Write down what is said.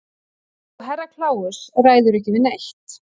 Og Herra Kláus ræður ekki við neitt.